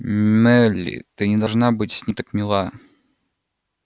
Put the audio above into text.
мелли ты не должна быть с ним так мила